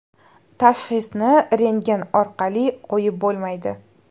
Tashxisni rentgen orqali qo‘yib bo‘lmaydi.